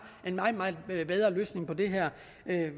en meget meget bedre løsning på det her